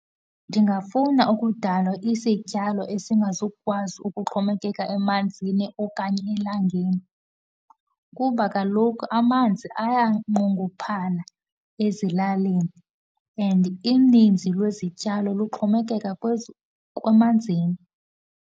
Ndingafuna ukudala isityalo esingakwazi ukuxhomekeka emanzini okanye elangeni. Kuba kaloku amanzi ayanqongophala ezilalini and ininzi lwezityalo luxhomekeka emanzini.